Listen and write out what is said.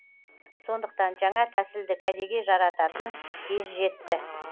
сондықтан жаңа тәсілді кәдеге жарататын кез жетті